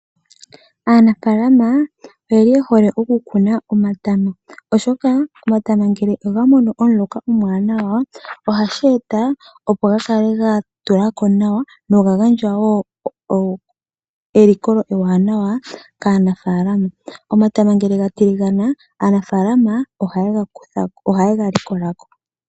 Aanafalama oye li ye hole okukuna omatama, oshoka omatama ngele oga mono omuloka omwaanawa ohashi eta ga kale ga tula ko nawa noga gandja wo elikolo ewanawa kaanafalama. Omatama ngele ga tiligana aanafalama ohaye ga likola ko.